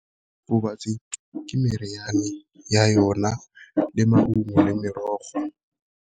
ke meriane ya yona le maungo le merogo.